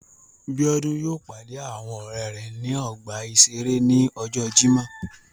Biodun yóò pàdé àwọn ọrẹ rẹ ní ọgbà iṣere ní ọjọ Jimọ